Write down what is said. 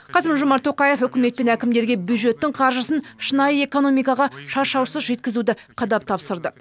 қасым жомарт тоқаев үкімет пен әкімдерге бюджеттің қаржысын шынайы экономикаға шашаусыз жеткізуді қадап тапсырды